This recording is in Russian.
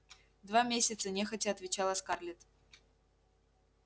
два месяца нехотя отвечала скарлетт